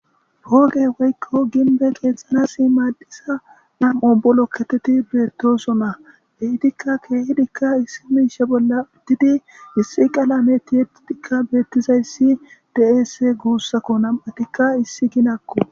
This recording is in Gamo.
poqe woykko ginbe qeexxana simaaddisa nam'o bu lokketeti beettoso na ehitikka keehidikka issi miishe bolla ittidi issi qalameti yettidikka beettizayssi deeese guussakko nam'tikka issi ginakko.